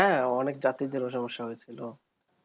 হ্যাঁ অনেক যাত্রীদের ও সমস্যা হয়েছিল